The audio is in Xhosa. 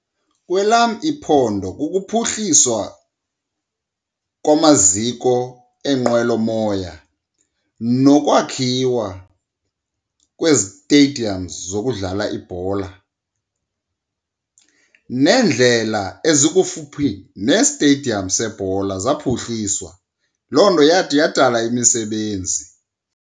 Kwelam iphondo kukuphuhliswa kwamaziko eenqwelomoya nokwakhiwa kwee-stadiums zokudlala ibhola, neendlela ezikufuphi nesteyidiyam sebhola zaphuhliswa. Loo nto yathi yadala imisebenzi.